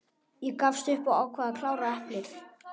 Ég gafst upp og ákvað að klára eplið.